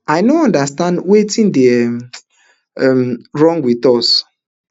i no understand wetin dey um um wrong wit us